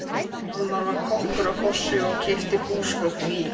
Hjálmar var kokkur á fossi og keypti húsgögnin í